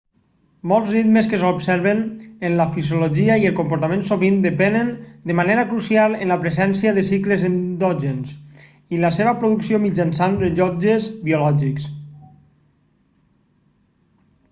molts ritmes que s'observen en la fisiologia i el comportament sovint depenen de manera crucial en la presència de cicles endògens i la seva producció mitjançant rellotges biològics